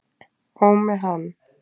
Og með hann.